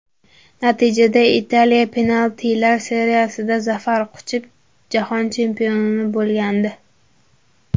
Natijada Italiya penaltilar seriyasida zafar quchib, jahon chempioni bo‘lgandi.